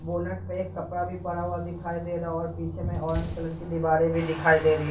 bonnet पे एक कपड़ा भी पड़ा हुआ दिखाई दे रहा है और पीछे में ऑरेंज कलर की दीवारें भी दिखाई दे रही --